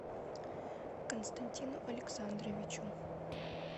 константину александровичу